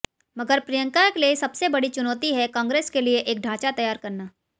मगर प्रियंका के लिए सबसे बड़ी चुनौती है कांग्रेस के लिए एक ढांचा तैयार करना